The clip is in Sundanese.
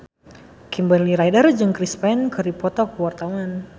Kimberly Ryder jeung Chris Pane keur dipoto ku wartawan